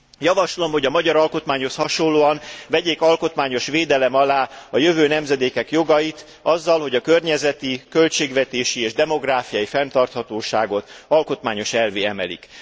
Javaslom, hogy a magyar alkotmányhoz hasonlóan vegyék alkotmányos védelem alá a jövő nemzedékek jogait azzal, hogy a környezeti, költségvetési és demográfiai fenntarthatóságot alkotmányos elvvé emelik.